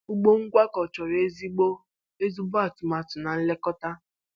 Ugbo ngwakọ chọrọ ezigbo ezigbo atụmatụ na nlekọta.